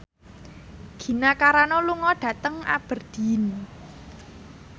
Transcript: Gina Carano lunga dhateng Aberdeen